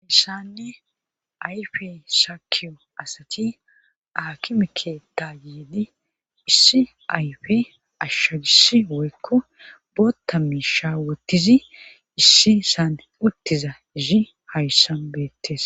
Haysani ayfe sakkin asati aakime keetta biidi issi ayfe ashshagissi woykko bootha miisha wottizi issisan uttiza izi hayssan beettes.